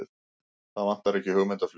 Það vantar ekki hugmyndaflugið!